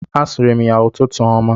A sịrị m ya ụtụtụ ọma.